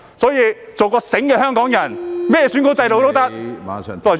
因此，做一個"醒目"的香港人，甚麼選舉制度也可以......